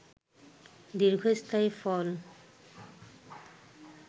দীর্ঘস্থায়ী ফল